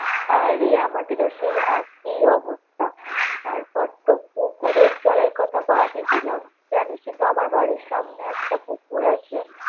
হ্যাঁ, রে আমাদেরও সেই একই অবস্থা তারপরতো পুকুরের জলের কথা তো বাদই দিলাম, জানিসই তো আমার বাড়ির সামনে একটা পুকুর আছে।